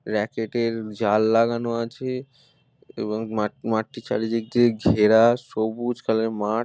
racket < -এর জাল লাগানো আছে এবংমাঠ মাঠটি চারিদিক দিয়ে ঘেরা সবুজ কালার এর মাঠ --